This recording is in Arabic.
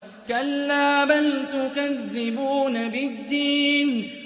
كَلَّا بَلْ تُكَذِّبُونَ بِالدِّينِ